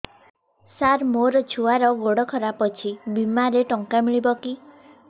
ସାର ମୋର ଛୁଆର ଗୋଡ ଖରାପ ଅଛି ବିମାରେ ଟଙ୍କା ମିଳିବ କି